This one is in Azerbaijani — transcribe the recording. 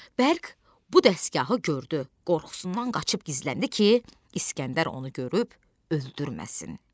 Bərq bu dəsgahı gördü, qorxusundan qaçıb gizləndi ki, İsgəndər onu görüb öldürməsin.